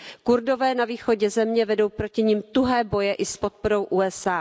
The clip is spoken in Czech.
Kurdové na východě země vedou proti nim tuhé boje i s podporou USA.